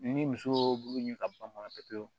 Ni muso b'u ɲɛ ka ban pewu